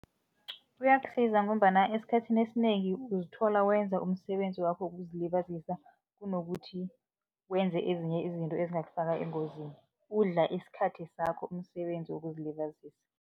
Kuyakusiza ngombana esikhathini esinengi uzithola wenza umsebenzi wakho wokuzilibazisa kunokuthi wenze ezinye izinto ezingakufaka engozini, udla isikhathi sakho umsebenzi wokuzilibazisa.